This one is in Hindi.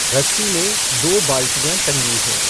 रस्सी में दो बाल्टियाँ टँगी हैं।